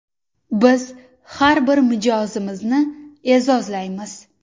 Biz har bir mijozimizni e’zozlaymiz!